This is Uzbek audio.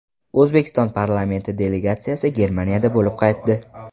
O‘zbekiston parlamenti delegatsiyasi Germaniyada bo‘lib qaytdi.